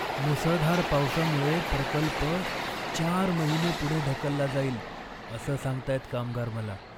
मुसळधार पावसामुळे प्रकल्प चार महिने पुढे ढकलला जाईल, असं सांगतायत कामगार मला.